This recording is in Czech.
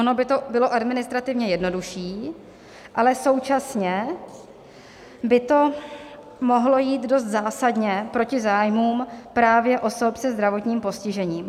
Ono by to bylo administrativně jednodušší, ale současně by to mohlo jít dost zásadně proti zájmům právě osob se zdravotním postižením.